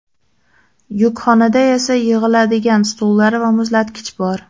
Yukxonada esa yig‘iladigan stullar va muzlatkich bor.